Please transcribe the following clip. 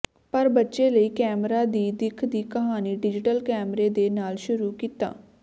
ਪਰ ਬੱਚੇ ਲਈ ਕੈਮਰਾ ਦੀ ਦਿੱਖ ਦੀ ਕਹਾਣੀ ਡਿਜ਼ੀਟਲ ਕੈਮਰੇ ਦੇ ਨਾਲ ਸ਼ੁਰੂ ਕੀਤਾ